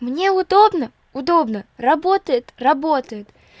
мне удобно удобно работает работает